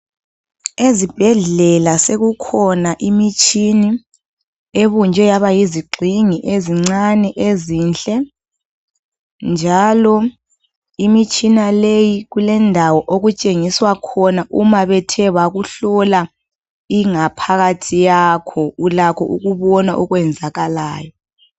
Ezibhedlela sekukhona imitshini ebunjwe yaba yizigxingi ezincane ezinhle njalo imitshina leyi kulendawo okutshengiswa khona uma bethe bakuhlola ingaphakathi yakho. Ulakho ukubona okwenzakalayo.